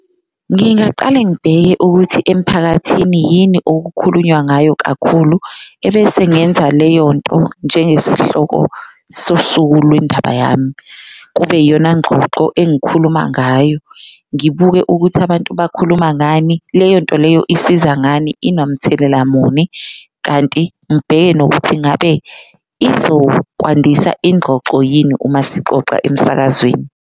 Ngingaqale ngibheke ukuthi emphakathini yini okukhulunywa ngayo kakhulu ebese ngenza leyo nto njengesihloko sosuku lwendaba yami, kube yiyona ngxoxo engikhuluma ngayo. Ngibuke ukuthi abantu bakhuluma ngani, leyo nto leyo isiza ngani, inamthelela muni, kanti ngibheke nokuthi ingabe izokwandisa ingxoxo yini uma sixoxa emsakazweni.